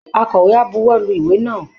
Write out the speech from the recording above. Akọ̀wé á buwọ́lu ìwé náà